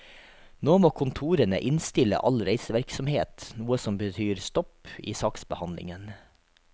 Nå må kontorene innstille all reisevirksomhet, noe som betyr stopp i saksbehandlingen.